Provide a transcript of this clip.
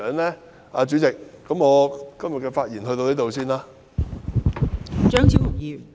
代理主席，我今天的發言先到此為止。